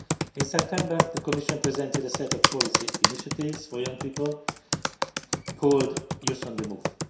In September, the Commission presented a set of policy initiatives for young people called Youth on the Move'.